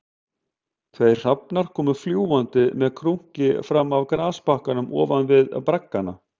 Tveir hrafnar komu fljúgandi með krunki fram af grasbakkanum ofan við braggana